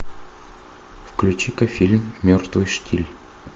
включи ка фильм мертвый штиль